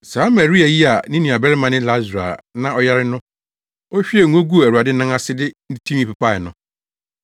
Saa Maria yi a ne nuabarima ne Lasaro a na ɔyare no na ohwiee ngo guu Awurade nan ase de ne tinwi pepae no.